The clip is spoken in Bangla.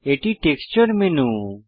এটি টেক্সচার মেনু